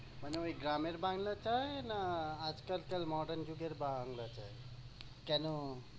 মানে ঐ গ্রামের বাংলা চায় না আজকাল কার modern যুগের বাংলা চায়? কেনো?